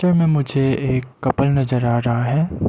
में मुझे एक कपल नजर आ रहा है।